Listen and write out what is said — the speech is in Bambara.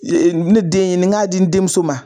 Ne den ye, nin n k'a di n denmuso ma